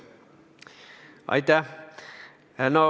Aitäh!